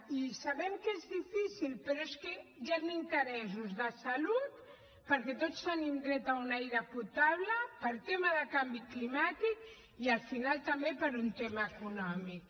i sabem que és difícil però és que hi han interessos de salut perquè tots tenim dret a un aire potable per tema de canvi climàtic i al final també per un tema econòmic